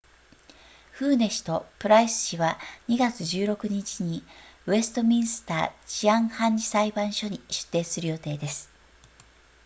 フーネ氏とプライス氏は2月16日にウェストミンスター治安判事裁判所に出廷する予定です